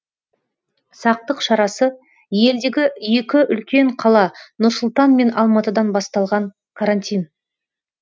сақтық шарасы елдегі екі үлкен қала нұр сұлтан мен алматыдан басталған карантин